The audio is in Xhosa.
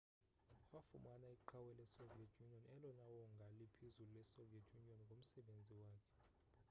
wafumana iqhawe lesoviet union elona wongaa liphezulu lesoviet union ngomsebenzi wakhe